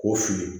K'o fili